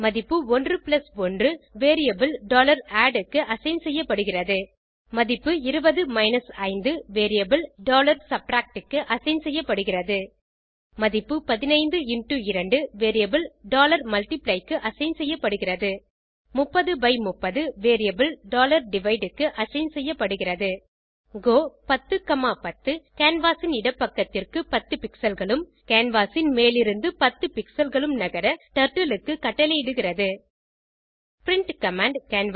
மதிப்பு 11 variable add க்கு assign செய்யப்படுகிறது மதிப்பு 20 5 வேரியபிள் subtract க்கு அசைன் செய்யப்படுகிறது மதிப்பு 15 2 வேரியபிள் multiply க்கு அசைன் செய்யப்படுகிறது 3030 வேரியபிள் divide க்கு அசைன் செய்யப்படுகிறது கோ 1010 கேன்வாஸ் ன் இடப்பக்கத்திற்கு 10 pixelகளும் கேன்வாஸ் ன் மேலிருந்து 10 pixelகளும் நகர டர்ட்டில் க்கு கட்டளையிடுகிறது பிரின்ட் கமாண்ட்